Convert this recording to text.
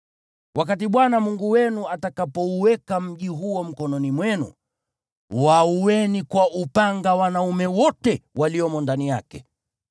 Wakati Bwana Mungu wenu atakapouweka mji huo mkononi mwenu, waueni kwa upanga wanaume wote waliomo ndani yake.